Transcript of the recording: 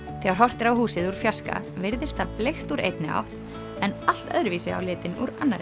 þegar horft er á húsið úr fjarska virðist það bleikt úr einni átt en allt öðru vísi á litinn úr annarri